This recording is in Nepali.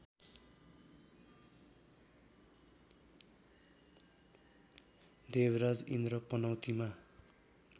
देवराज इन्द्र पनौतीमा